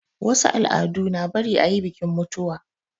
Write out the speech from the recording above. Wasu al'adu na bari ayi bikin mutuwa